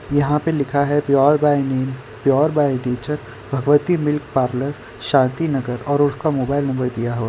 यहां पर लिखा है pure by name pure by nature Bhagwati milk parlour Shanti Nagar और उसका मोबाइल नंबर दिया हुआ--